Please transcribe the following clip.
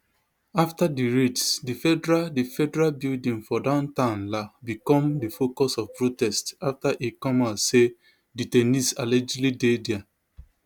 after di raids di federal di federal building for downtown la become di focus of protests after e come out say detainees allegedly dey dia